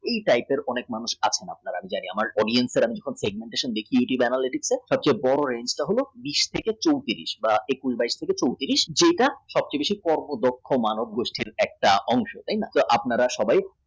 এই type এর অনেক মানুষ আছেন যে সব থেকে বড় analysis হলো উনিশ থেকে চৌত্রিশ বা একুশ বাইশ থেকে চৌত্রিশ যেটা চট্টরিশের পর একটা মানব গোষ্ঠীর বিরাট অঙ্গ